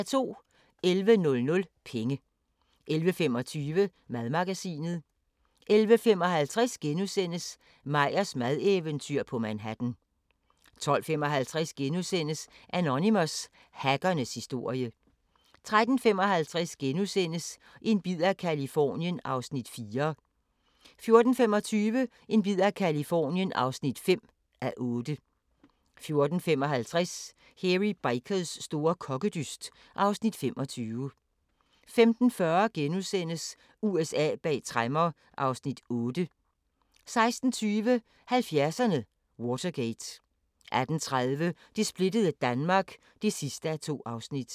11:00: Penge 11:25: Madmagasinet 11:55: Meyers madeventyr på Manhattan * 12:55: Anonymous – hackernes historie * 13:55: En bid af Californien (4:8)* 14:25: En bid af Californien (5:8) 14:55: Hairy Bikers store kokkedyst (Afs. 25) 15:40: USA bag tremmer (Afs. 8)* 16:20: 70'erne: Watergate 18:30: Det splittede Danmark (2:2)